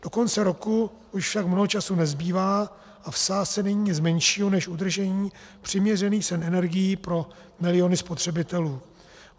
Do konce roku již však mnoho času nezbývá a v sázce není nic menšího než udržení přiměřených cen energií pro miliony spotřebitelů.